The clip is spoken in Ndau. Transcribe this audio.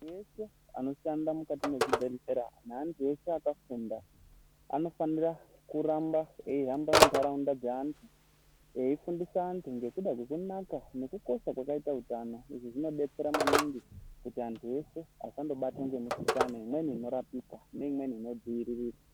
Veshe vanoshanda mukati mwezvibhehlera neantu ashe akafunda anofanira kuramba eihamba mukati mwe ntaraunda dzeantu eifundisa antu ngekuda kwekunaka nekukukosha kwakaita utano izvi zvinodetsera maningi kuti antu eshe asandobatwa ngemikhuhlani imweni inorapika neimweni inodziiririka.